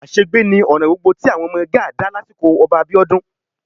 Àṣegbé ni ọ̀ràn gbogbo tí àwọn ọmọ Gáà dá lásìkò Ọba Abíọ́dún